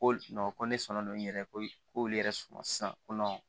Ko ko ne sɔn don n yɛrɛ ko k'olu yɛrɛ sɔnna sisan ko